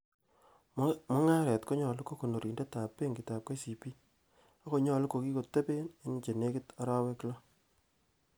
Mungaret konyolu ko konorindetab benkitab KCB,ak konyolu kokikoteben en chenekit arawek loo.